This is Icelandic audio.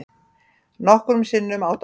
Nokkrum sinnum á dag.